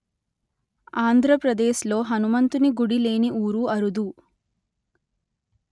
ఆంధ్ర ప్రదేశ్ ‌లో హనుమంతుని గుడి లేని ఊరు అరుదు